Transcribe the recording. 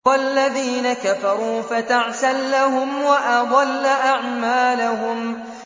وَالَّذِينَ كَفَرُوا فَتَعْسًا لَّهُمْ وَأَضَلَّ أَعْمَالَهُمْ